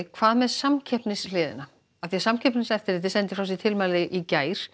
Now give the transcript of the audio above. hvað með samkeppnishliðina Samkeppniseftirlitið sendi frá sér tilmæli í gær